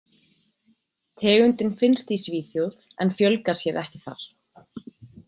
Tegundin finnst í Svíþjóð en fjölgar sér ekki þar.